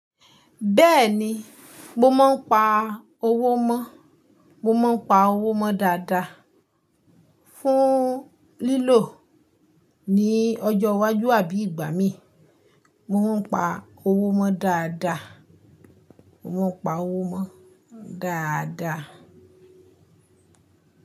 Bẹ́ẹ̀ni, mo máa ń pa owó mọ́, mo máa ń pa owó mọ́ dáadáa fún lílò ní ọjọ́ iwájú àbí ìgbà mí. Mo máa ń pa owó mọ́ dáadáa. Mo máa pa owó mọ́ dáadáa.